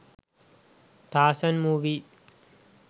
tarzan movie